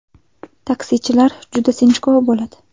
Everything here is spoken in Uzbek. Taksichilar juda sinchkov bo‘ladi.